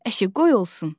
Əşi, qoy olsun.